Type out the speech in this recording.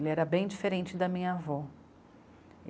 Ele era bem diferente da minha avó.